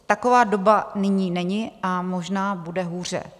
Taková doba nyní není a možná bude hůře.